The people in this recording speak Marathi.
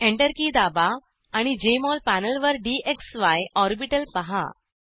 एंटर की दाबा आणि जेएमओल पॅनेलवर डीएक्सवाय ऑर्बिटल पाहा